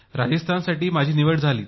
राजस्थानसाठी माझी निवड झाली